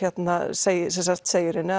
segir segir henni